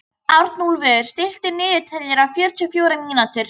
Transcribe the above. Arnúlfur, stilltu niðurteljara á fjörutíu og fjórar mínútur.